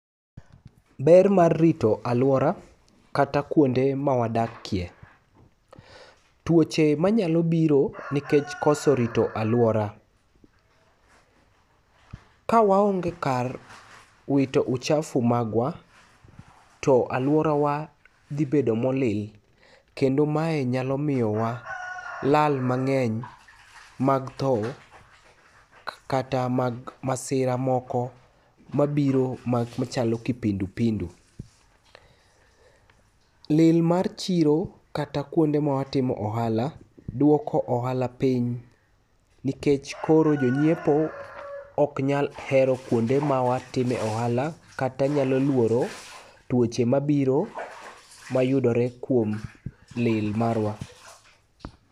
Ber mar rito alwora kata kuonde ma wadakie. Twoche manyalo biro nikech koso rito alwora. Ka waonge kar wito uchafu magwa, to alworawa dhi bedo molil kendo mae nyalo miyo wa lal mang'eny mag tho kata mag masira moko mabiro machalo kipindupindu. Lil mar chiro kata kuonde ma watimo ohala, dwoko ohala piny, nikech koro jonyiepo ok nyal hero kuonde ma watimo e ohala, kata nyalo luoro twoche mabiro mayudore kuom lil marwa.